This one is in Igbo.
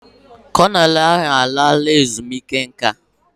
Kọnel ahụ alaala ezumike nka.